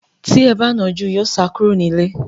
Tí ẹ ba nà án jù, yóò sá kúrò nílé.